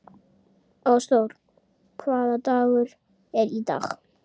Ásþór, hvaða dagur er í dag?